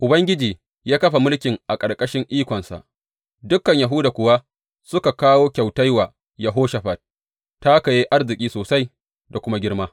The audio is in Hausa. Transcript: Ubangiji ya kafa mulkin a ƙarƙashin ikonsa; dukan Yahuda kuwa suka kawo kyautai wa Yehoshafat, ta haka ya yi arziki sosai da kuma girma.